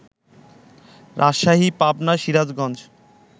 Rajshahi, Pabna, Sirajganj